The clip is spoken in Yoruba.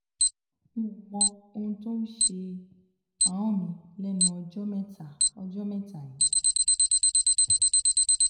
nò mọ ohun tó ń ṣe ahọ́n mi lẹnu ọjọ́ mẹ́ta ọjọ́ mẹ́ta yìí